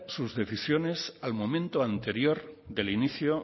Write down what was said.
sus decisiones al momento anterior del inicio